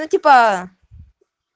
типа